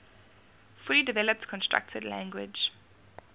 fully developed constructed language